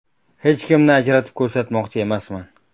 Hech kimni ajratib ko‘rsatmoqchi emasman.